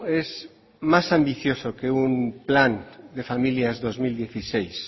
es más ambicioso que un plan de familias dos mil dieciséis